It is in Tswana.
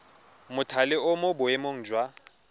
mothale o mo boemong jwa